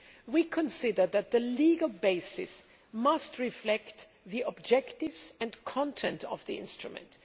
We consider that the legal basis must reflect the objectives and content of the instrument.